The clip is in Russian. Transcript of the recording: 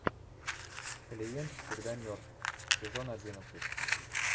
клиент всегда мертв сезон одиннадцать